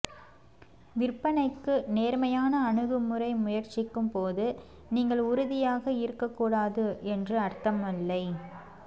விற்பனைக்கு நேர்மையான அணுகுமுறை முயற்சிக்கும் போது நீங்கள் உறுதியாக இருக்கக்கூடாது என்று அர்த்தமில்லை